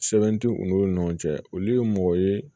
Sɛbɛn tɛ u n'u ni ɲɔgɔn cɛ olu ye mɔgɔ ye